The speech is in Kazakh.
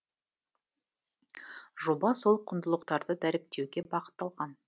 жоба сол құндылықтарды дәріптеуге бағытталған